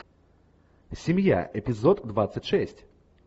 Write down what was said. семья эпизод двадцать шесть